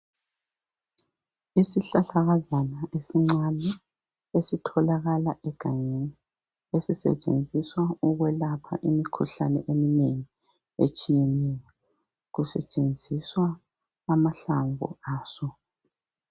Isihlahlakazana esincane esitholakala egangeni esisetshenziswa ukwelapha imkhuhlane emnengi etshiyeneyo . Kusetshenziswa amahlamvu aso.